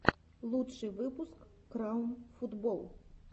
лучший выпуск краун футбол